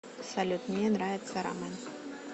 салют мне нравится рамэн